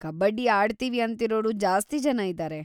ಕಬಡ್ಡಿ ಆಡ್ತೀವಿ ಅಂತಿರೋರು ಜಾಸ್ತಿ ಜನ ಇದಾರೆ.